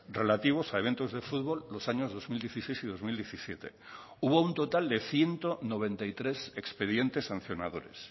relativos a eventos de fútbol los años dos mil dieciséis y dos mil diecisiete hubo un total de ciento noventa y tres expedientes sancionadores